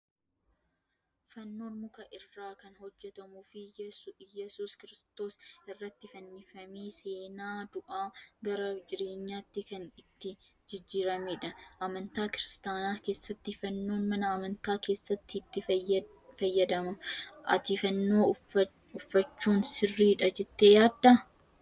Fannoon muka irraa kan hojjatamuu fi yesuus kiristoos irratti fannifamee fi seenaa du'aa gara jireenyaatti kan itti jijjiiramedha. Amantaa kiristaanaa keessatti fannoon mana amantaa keessatti itti fayyadamama. Ati fannoo uffachuun siriidha jettee yaaddaa?